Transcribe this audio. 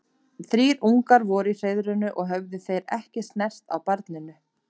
Þrír ungar voru í hreiðrinu og höfðu þeir ekki snert á barninu.